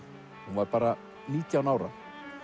hún var bara nítján ára